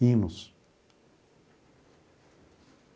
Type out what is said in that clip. Hinos.